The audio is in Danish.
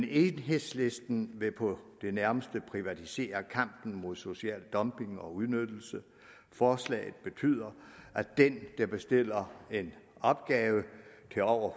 enhedslisten vil på det nærmeste privatisere kampen mod social dumping og udnyttelse og forslaget betyder at den der bestiller en opgave til over